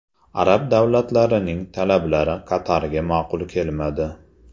Arab davlatlarining talablari Qatarga ma’qul kelmadi.